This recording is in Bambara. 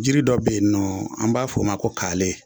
Jiri dɔ be yen nɔ an b'a f'o ma ko kaale